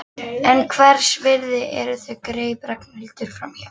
En hvers virði eru þau? greip Ragnhildur fram í.